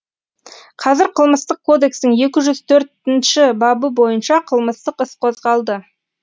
қазір қылмыстық кодекстің екі жүз төртінші бабы бойынша қылмыстық іс қозғалды